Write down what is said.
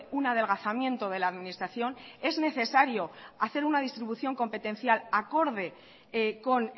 un adelgazamiento de la administración es necesario hacer una distribución competencial acorde con